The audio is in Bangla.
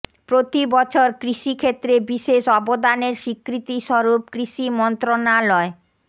প্রতি বছর কৃষি ক্ষেত্রে বিশেষ অবদানের স্বীকৃতিস্বরূপ কৃষি মন্ত্রণালয়